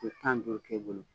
kile tan ni duuru kɛ i bolo.